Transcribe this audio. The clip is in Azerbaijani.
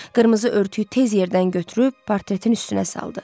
Qırmızı örtüyü tez yerdən götürüb partretin üstünə saldı.